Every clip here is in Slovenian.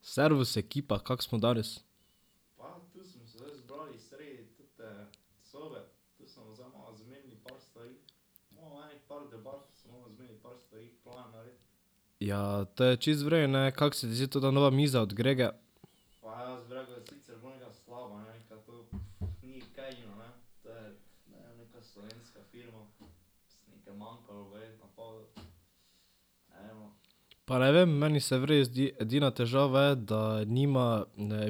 Servus ekipa, kako smo danes? Ja, to je čisto v redu, ne. Kako se zdi tota nova miza od Gregeja? Pa ne vem, meni se v redu zdi. Edina težava je, da nima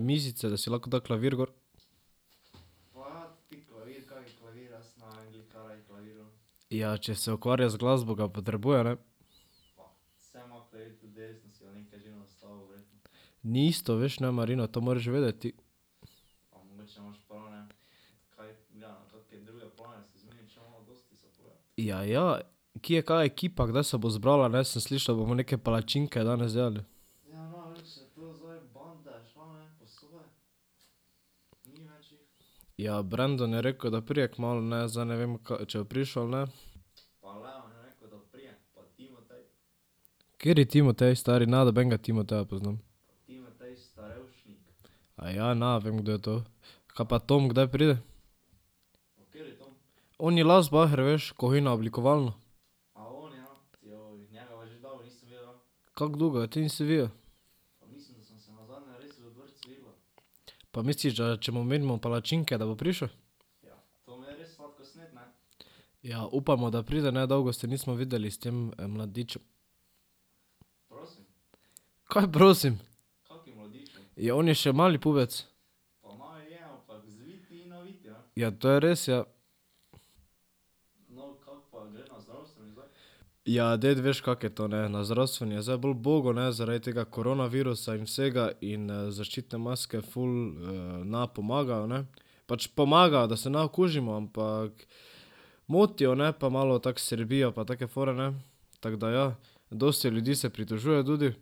mizice, da si lahko da klavir gor. Ja, če se ukvarja z glasbo ga potrebuje, ne. Ni isto, veš, ne, Marino, to moraš vedeti ti. Ja, ja. Kje je kaj ekipa, kdaj se bo zbrala, ne? Sem slišal, da bomo neke palačinke danes delali. Ja, Brendon je rekel, da pride kmalu, ne. Zdaj ne vem, k@() če bo prišel ali ne. Kateri Timotej? Stari, ne nobenega Timoteja poznam. Aja, ne vem, kdo je to. Kaj pa Tom, kdaj pride? Oni Lazbaher, veš, ko hodi na oblikovalno. Kako dolgo ga ti nisi videl? Pa misliš, da če mu omenimo palačinke, da bo prišel? Ja, upajmo, da pride, ne. Dolgo se nismo videli s tem mladičem. Kaj prosim? Ja, on je še mali pubec. Ja, to je res, ja. Ja, ded, veš, kako je to, ne. Na zdravstveni je zdaj bolj bogo, ne, zaradi tega koronavirusa in vsega in zaščitne maske ful ne pomagajo, ne. Pač pomagajo, da se ne okužimo, ampak motijo, ne, pa malo tako srbijo pa take fore, ne. Tako da ja, dosti ljudi se pritožuje tudi.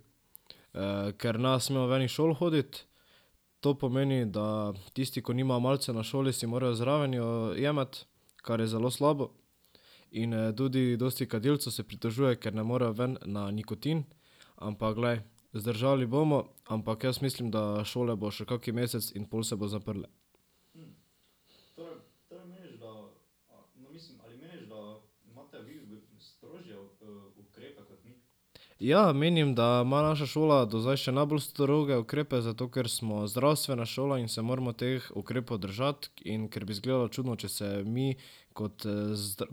ker ne smejo ven iz šol hoditi. To pomeni, da tisti, ko nimajo malice na šoli si morajo zraven jo jemati, kar je zelo slabo. In tudi dosti kadilcev se pritožuje, ker ne morejo ven na nikotin. Ampak, glej, zdržali bomo. Ampak jaz mislim, da šole bojo še kak mesec in pol se bojo zaprle. Ja, menim, da ima naša šola do zdaj še najbolj stroge ukrepe, zato ker smo zdravstvena šola in se moramo teh ukrepov držati in ker bi izgledalo čudno, če se mi kot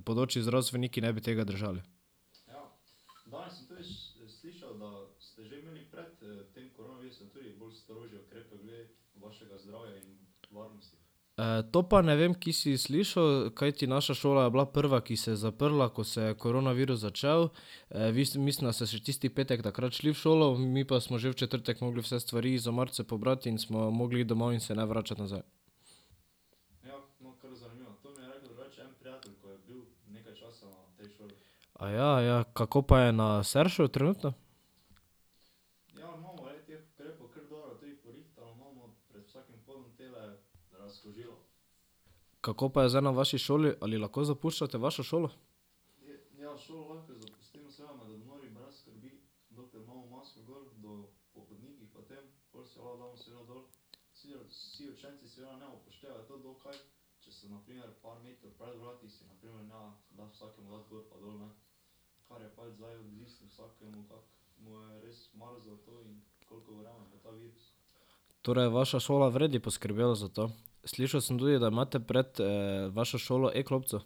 bodoči zdravstveniki ne bi tega držali. to pa ne vem, kje si slišal, kajti naša šola je bila prva, ki se je zaprla, ko se je koronavirus začel. vi ste mislim, da ste še tisti petek takrat šli v šolo, mi pa smo že v četrtek morali vse stvari iz omarice pobrati in smo morali iti domov in se ne vračati nazaj. Aja? Ja, kako pa je na Seršu trenutno? Kako pa je zdaj na vaši šoli? Ali lahko zapuščate vašo šolo? Torej je vaša šola v redu poskrbela za to. Slišal sem tudi, da imate pred vašo šolo e-klopco.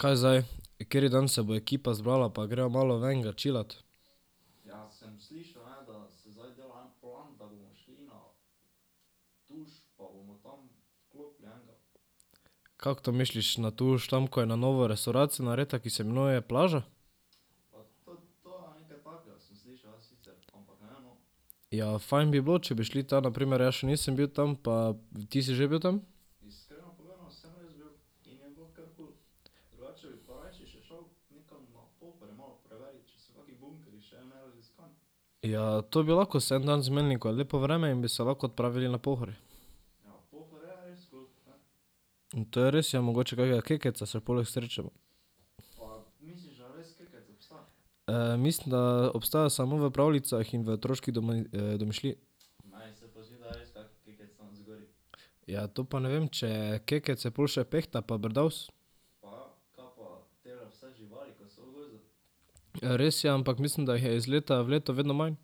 Kaj zdaj? Kateri dan se bo ekipa zbrala pa gremo malo ven ga chillat? Kako to misliš na Tuš? Tam, ko je na novo restavracija narejena, ki se imenuje Plaža? Ja, fajn bi bilo, če bi šli tja na primer, jaz še nisem bil tam, pa ... Ti si že bil tam? Ja, to bi lahko se en dan zmenili, ko je lepo vreme, in bi se lahko odpravili na Pohorje. To je res, ja. Mogoče kakega Kekca se poleg srečamo. mislim, da obstaja samo v pravljicah in v otroški domišljiji. Ja, to pa ne vem, če je Kekec, je pol še Pehta pa Brdavs. Res je, ampak mislim, da jih je iz leta v leto vedno manj.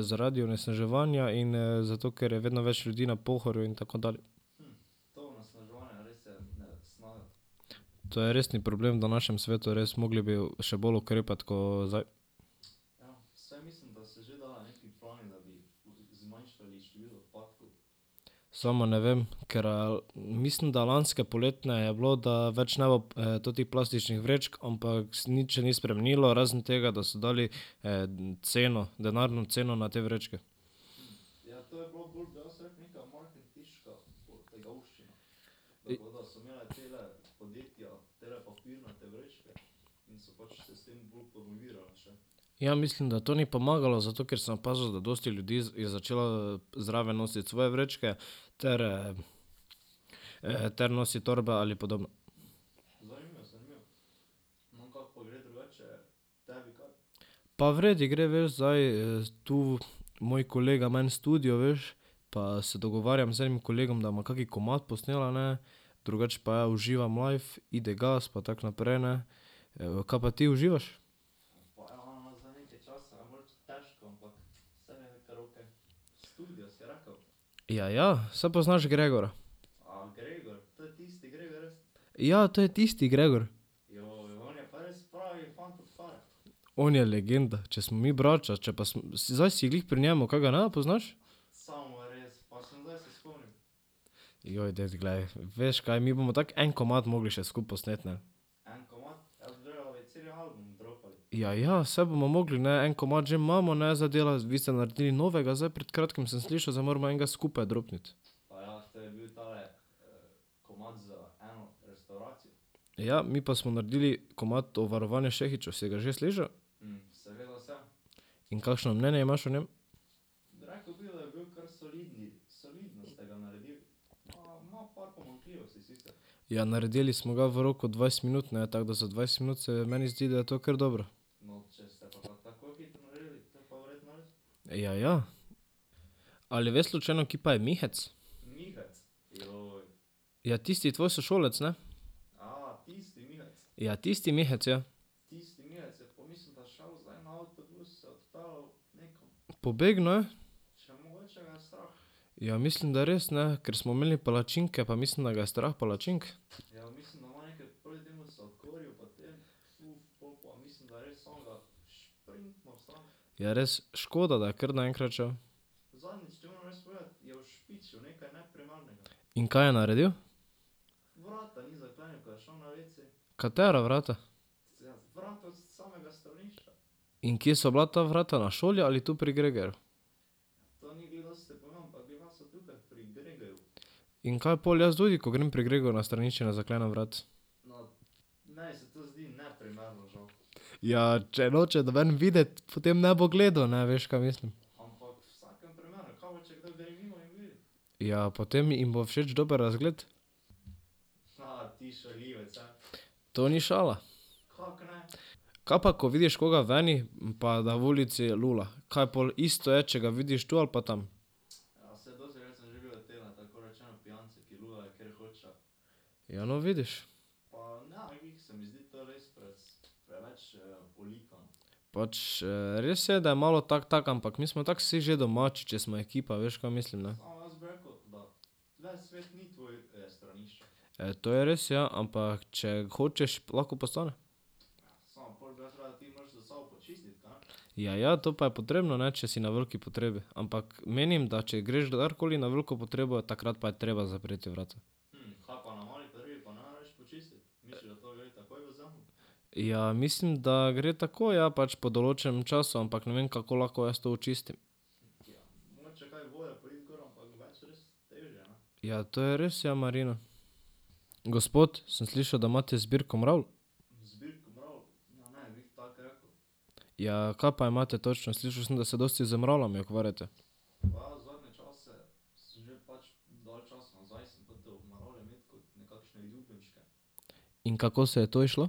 zaradi onesnaževanja in zato, ker je vedno več ljudi na Pohorju in tako dalje. To je resen problem v današnjem svetu, res. Morali bi še bolj ukrepati ko zdaj. Samo ne vem, ker mislim, da lanske poletne je bilo, da več ne bo totih plastičnih vrečk, ampak se nič še ni spremenilo, razen tega, da so dali ceno, denarno ceno na te vrečke. Ja, mislim, da to ni pomagalo, zato ker sem opazil, da dosti ljudi je začelo zraven nositi svoje vrečke ter ter nositi torbe ali podobno. Pa v redu gre, veš, zdaj tu moj kolega ima en studio, veš, pa se dogovarjam z enim kolegom, da bomo kak komad posnela, ne. Drugače pa ja, uživam life, ide gas pa tako naprej, ne. Kaj pa ti, uživaš? Ja, ja. Saj poznaš Gregorja. Ja, to je tisti Gregor. On je legenda. Če smo mi braća, če pa smo zdaj si glih pri njem, kaj ga ne poznaš? ded, glej. Veš, kaj? Mi bomo tako en komad morali še skupaj posneti, ne. Ja, ja. Saj bomo morali, ne. En komad že imamo, ne. Zdaj dela, vi ste naredili novega, zdaj pred kratkim sem slišal, zdaj moramo enega skupaj dropniti. Ja, mi pa smo naredili komad o varovanju Šehićev, si ga že slišal? In kakšno mnenje imaš o njem? Ja, naredili smo ga v roku dvajset minut, ne. Tako da za dvajset minut se meni zdi, da je to kar dobro. Ja, ja. Ali veš slučajno, kje pa je Mihec? Ja, tisti tvoj sošolec, ne. Ja, tisti Mihec, ja. Pobegnil je? Ja, mislim, da res, ne. Ker smo imeli palačinke, pa mislim, da ga je strah palačink. Ja res, škoda, da je kar naenkrat šel. In kaj je naredil? Katera vrata? In kje so bila ta vrata? Na šoli ali tu pri Gregerju? In kaj pol? Jaz tudi, ko grem pri Gregeju na stranišče, ne zaklenem vrat. Ja, če noče noben videti, potem ne bo gledal, ne, veš, kaj mislim. Ja, potem jim bo všeč dober razgled. To ni šala. Kaj pa, ko vidiš koga veni pa da v ulici lula? Kaj pol isto je, če ga vidiš tu ali pa tam? Ja, no, vidiš. Pač, res je, da je malo tako tako, ampak mi smo tako vsi že domači, če smo ekipa. Veš, ka mislim, ne. to je res, ja. Ampak, če hočeš, lahko postane. Ja, ja, to pa je potrebno, ne, če si na veliki potrebi. Ampak menim, da če greš kadarkoli na veliko potrebo, takrat pa je treba zapreti vrata. Ja, mislim, da gre takoj, ja, pač po določenem času, ampak ne vem, kako lahko jaz to očistim. Ja, to je res, ja, Marino. Gospod, sem slišal, da imate zbirko mravelj. Ja, kaj pa imate točno? Slišal sem, da se dosti z mravljami ukvarjate. In kako se je to izšlo?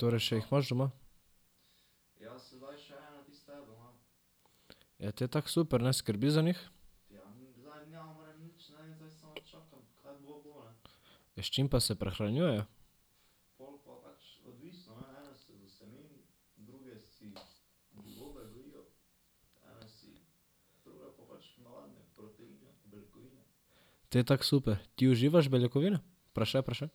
Torej še jih imaš doma? Ja, te tako super, ne. Skrbiš za njih? Ja, s čim pa se prehranjujejo? Te tako super. Ti uživaš beljakovine? Vprašaj, vprašaj.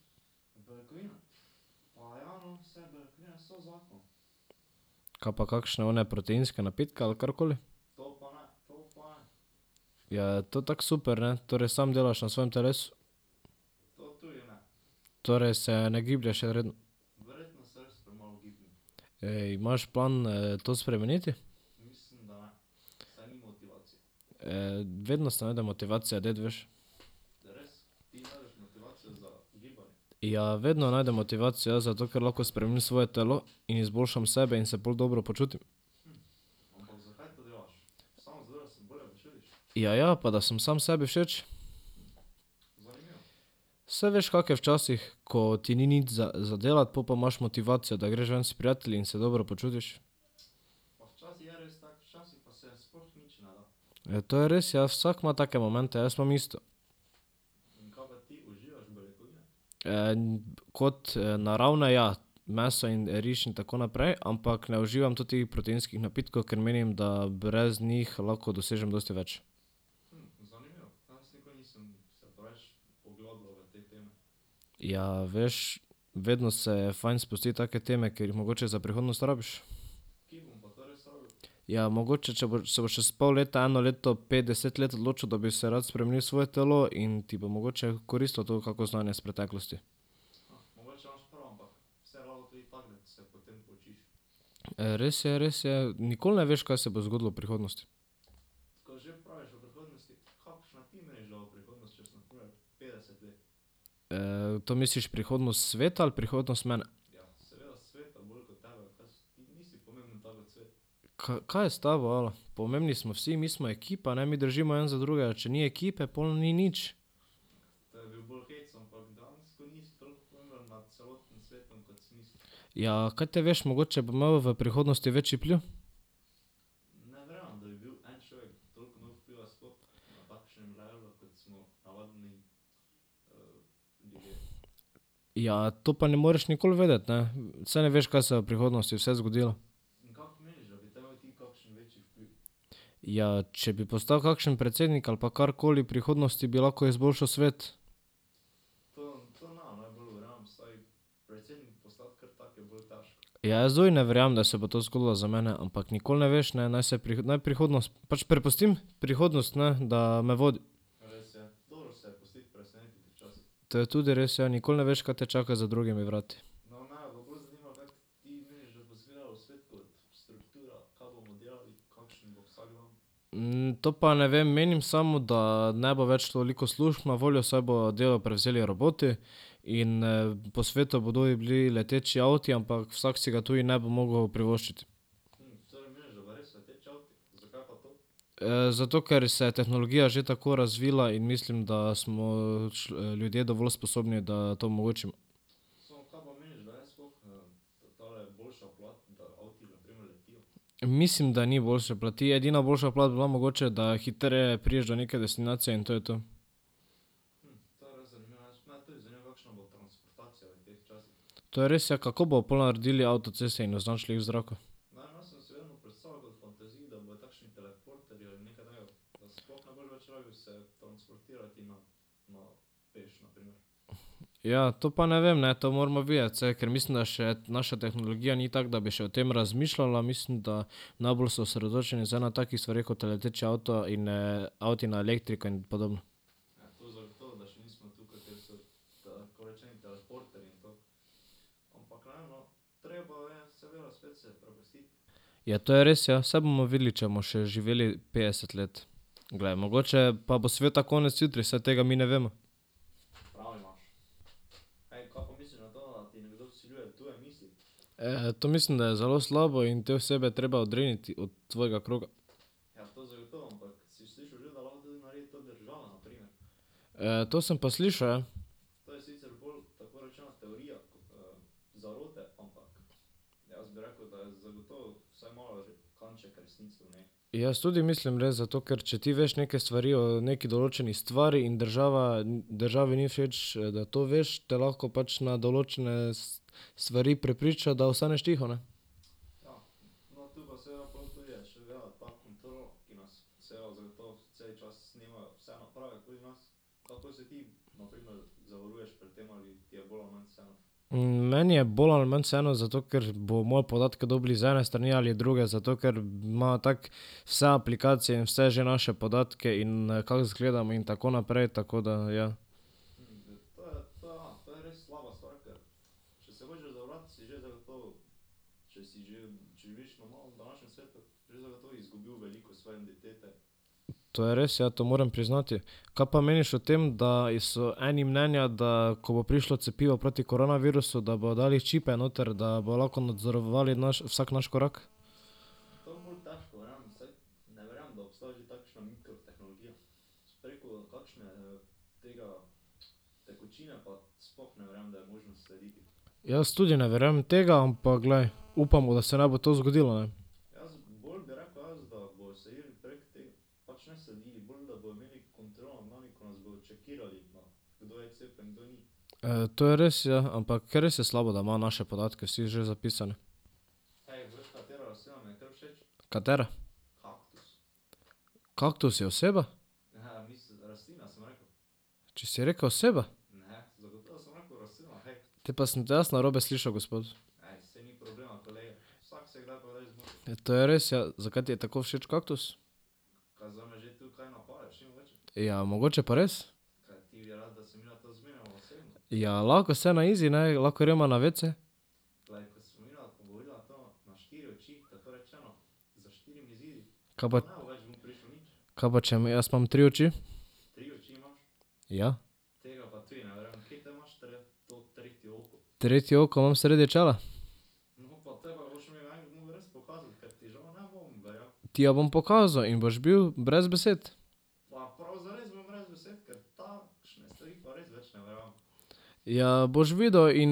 Kaj pa kakšne one proteinske napitke ali karkoli? Ja, to tako super, ne. Torej sam delaš na svojem telesu? Torej se ne giblješ redno? Ej, imaš plan to spremeniti? vedno se najde motivacija, ded, veš? Ja, vedno najdem motivacijo, ja, zato ker lahko spremenim svoje telo in izboljšam sebe in se pol dobro počutim. Ja, ja. Pa da sem sam sebi všeč. Saj veš, kako je včasih, ko ti ni nič za, za delati pol pa imaš motivacijo, da greš ven s prijatelji in se dobro počutiš. Ja, to je res ja, vsak ima take momente, jaz imam isto. kot naravne ja, meso in riž in tako naprej, ampak ne uživam totih proteinskih napitkov, ker menim, da brez njih lahko dosežem dosti več. Ja, veš, vedno se je fajn spustiti v take teme, ker jih mogoče za prihodnost rabiš. Ja, mogoče, če boš, se boš čez pol leta, eno leto, pet, deset let odločil, da bi se rad spremenil svoje telo in ti bo mogoče koristilo to kako znanje iz preteklosti. Res je, res je, nikoli ne veš, kaj se bo zgodilo v prihodnosti. to misliš prihodnost sveta ali prihodnost mene? kaj je s tabo, alo? Pomembni smo vsi, mi smo ekipa, ne, mi držimo en za drugega, če ni ekipe, pol ni nič. Ja, kaj te veš, mogoče bom imel v prihodnosti večji vpliv. Ja, to pa ne moreš nikoli vedeti, ne. Saj ne veš, kaj se bo v prihodnosti vse zgodilo. Ja, če bi postal kakšen predsednik ali pa karkoli v prihodnosti, bi lahko izboljšal svet. Ja, jaz tudi ne verjamem, da se bo to zgodilo za mene, ampak nikoli ne veš, ne, naj se, naj prihodnost, pač prepustim, prihodnost, ne, da me vodi. To je tudi res, ja, nikoli ne veš, kaj te čaka za drugimi vrati. to pa ne vem, menim samo, da ne bo več toliko služb na voljo, saj bodo delo prevzeli roboti in po svetu bodo ovi bili leteči avti, ampak vsak si ga tudi ne bo mogel privoščiti. zato ker se je tehnologija že tako razvila in mislim, da smo ljudje dovolj sposobni, da to omogočimo. Mislim, da ni boljše plati, edina boljša plat bi bila mogoče, da hitreje prideš do neke destinacije in to je to. To je res ja, kako bojo pol naredili avtoceste in označili jih v zraku? Ja, to pa ne vem, ne. To moramo videti, saj, ker mislim, da še naša tehnologija ni tako, da bi še o tem razmišljala, mislim, da najbolj so osredotočeni zdaj na takih stvareh, kot je leteči avto in avti na elektriko in podobno. Ja, to je res, ja, saj bomo videli, če bomo še živeli petdeset let. Glej, mogoče pa bo sveta konec jutri, saj tega mi ne vemo. to mislim, da je zelo slabo in te osebe je treba odriniti od tvojega kroga. to sem pa slišal, ja. Jaz tudi mislim, glej, zato ker, če ti veš neke stvari o neki določeni stvari in država, državi ni všeč da to veš, te lahko pač na določene stvari prepriča, da ostaneš tiho, ne. meni je bolj ali manj vseeno, zato ker bojo moje podatke dobili z ene strani ali druge, zato ker ima tako vse aplikacije in vse že naše podatke in kako zgledamo in tako naprej, tako da, ja. To je res, ja, to moram priznati. Kaj pa meniš o tem, da so eni mnenja, da ko bo prišlo cepivo proti koronavirusu, da bojo dali čipe noter, da bojo lahko nadzorovali naš vsak naš korak? Jaz tudi ne verjamem tega, ampak glej, upamo, da se ne bo to zgodilo, ne. to je res, ja, ampak res je slabo, da imajo naše podatke vsi že zapisane. Katera? Kaktus je oseba? Če si rekel oseba. Te pa sem te jaz narobe slišal, gospod. Ja, to je res, ja. Zakaj ti je tako všeč kaktus? Ja, mogoče pa res. Ja, lahko se na izi, ne, lahko greva na wc. Kaj pa ... Kaj pa če jaz imam tri oči. Ja. Tretje oko imam sredi čela. Ti jo bom pokazal in boš bil brez besed. Ja, boš videl in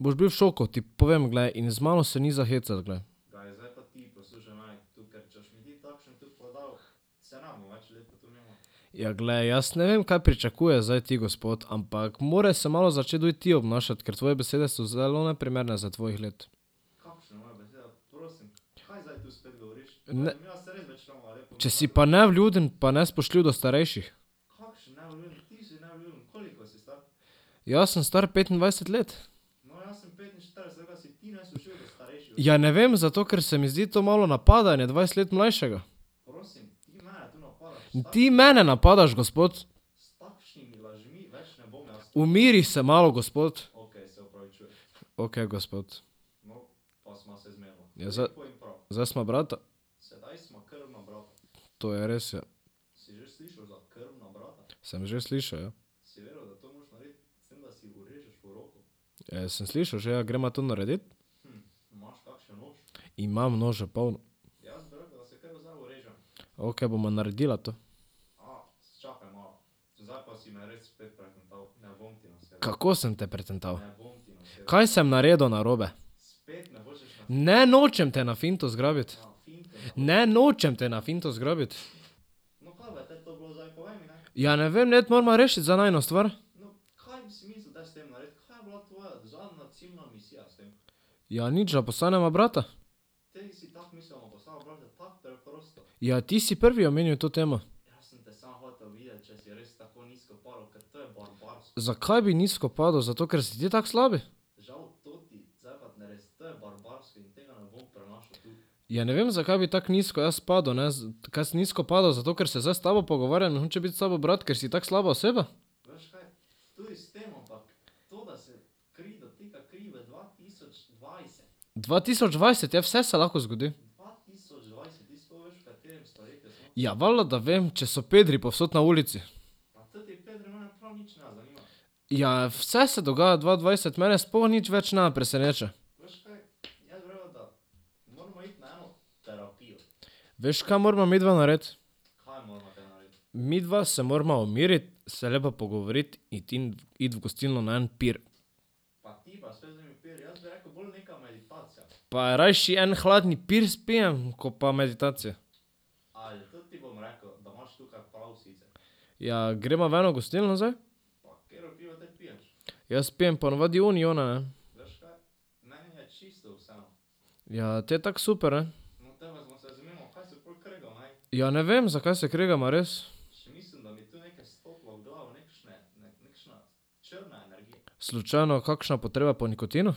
boš bil v šoku, ti povem, glej in z mano se ni za hecati, glej. Ja, glej, jaz ne vem, kaj pričakuješ zdaj ti, gospod, ampak moraš se malo začeti tudi ti obnašati, ker tvoje besede so zelo neprimerne za tvojih let. Ne ... Če si pa nevljuden pa nespoštljiv do starejših. Jaz sem star petindvajset let. Ja, ne vem, zato ker se mi zdi to malo napadanje dvajset let mlajšega. Ti mene napadaš, gospod! Umiri se malo, gospod! Okej, gospod. Zdaj ... Zdaj sva brata. To je res, ja. Sem že slišal, ja. Sem slišal že, ja, greva to naredit? Imam nožev polno. Okej, bova naredila to. Kako sem te pretental? Kaj sem naredil narobe? Ne, nočem te na finto zgrabiti. Ne, nočem te na finto zgrabiti. Ja, ne vem, ded, morava rešiti zdaj najino stvar. Ja, nič, da postaneva brata. Ja, ti si prvi omenil to temo. Zakaj bi nizko padel, zato ker si ti tako slab? Ja, ne vem, zakaj bi tako nizko jaz padel, ne. Kaj sem nizko padel, zato ker se zdaj s tabo pogovarjam in hočem biti s tabo brat, ker si tako slaba oseba? Dva tisoč dvajset je, vse se lahko zgodi. Ja, valjda, da vem, če so pedri povsod na ulici. Ja, vse se dogaja v dva dvajset, mene sploh več nič ne preseneča. Veš, kaj morava midva narediti? Midva se morava umiriti, se lepo pogovoriti iti in iti v gostilno na en pir. Pa rajši en hladen pir spijem ko pa meditacija. Ja, greva v eno gostilno zdaj? Jaz pijem ponavadi uniona, ne. Ja, te tako super, ne. Ja, ne vem, zakaj se kregava, res. Slučajno kakšna potreba po nikotinu?